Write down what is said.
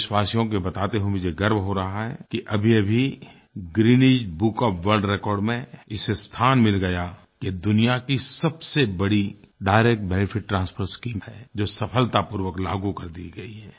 देशवासियों को ये बताते हुए मुझे गर्व हो रहा है कि अभीअभी Guinness book of world record में इसे स्थान मिल गया कि दुनिया की सबसे बड़ी डायरेक्ट बेनेफिट ट्रांसफर शीम है जो सफलतापूर्वक लागू कर दी गई है